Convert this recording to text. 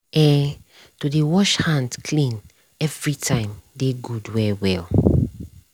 ehto dey wash hand clean every time dey good well well